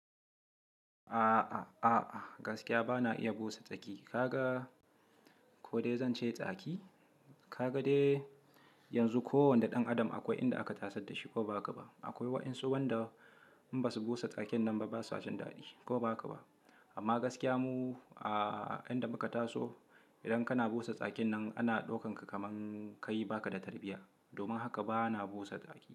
A'a, a'a, gaskiya bana iya busa tsaki. Kaga ko dai zan ce tsaki? Kaga dai yanzu kowane ɗan adam akwai inda aka tasar da shi ko ba haka ba. Akwai wayansu wanda in basu busa tsakin nan ba, basa jin daɗi ko ba haka ba. Amma gaskiya mu a'a, inda muka taso idan kana busa tsakin nan ana ɗauka kaman kai baka da tarbiyya. Domin haka bana busa tsaki.